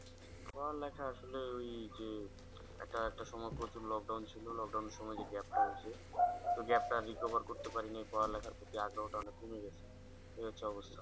পড়ালেখা আসলে ওই যে একটা, একটা সময় প্রচুর lockdown ছিল lockdown এর সময় যে gap টা হয়েছে তো gap টা recover করতে পারিনি পড়ালেখার প্রতি আগ্রহটা অনেক কমে গেছে। এই হচ্ছে অবস্থা